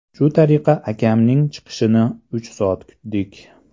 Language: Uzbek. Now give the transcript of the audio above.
Shu tariqa akamning chiqishini uch soat kutdik.